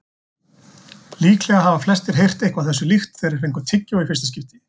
Líklega hafa flestir heyrt eitthvað þessu líkt þegar þeir fengu tyggjó í fyrsta skipti.